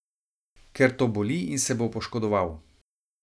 Ker to boli in se bo poškodoval!